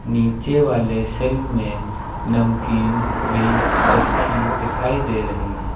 नीचे वाले शेल में नमकीन भी रखी दिखाई दे रही है।